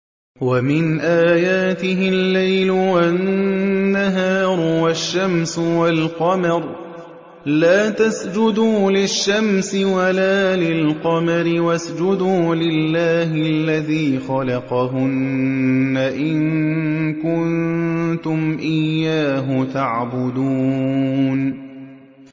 وَمِنْ آيَاتِهِ اللَّيْلُ وَالنَّهَارُ وَالشَّمْسُ وَالْقَمَرُ ۚ لَا تَسْجُدُوا لِلشَّمْسِ وَلَا لِلْقَمَرِ وَاسْجُدُوا لِلَّهِ الَّذِي خَلَقَهُنَّ إِن كُنتُمْ إِيَّاهُ تَعْبُدُونَ